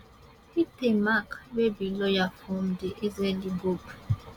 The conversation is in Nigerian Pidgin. eitay mack wey be lawyer from di israeli group